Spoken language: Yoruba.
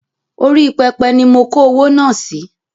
Orí pẹpẹ ni mo kó owó náà sì